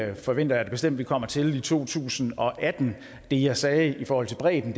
det forventer jeg da bestemt at vi kommer til i to tusind og atten det jeg sagde i forhold til bredden